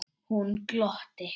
Hún glotti.